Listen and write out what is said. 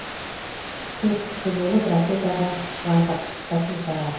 төрт кісі болып ракетаға шығардық катюшаға